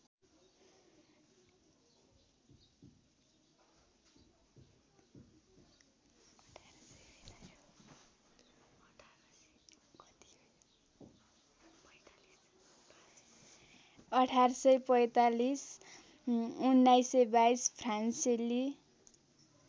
१८४५ १९२२ फ्रान्सेली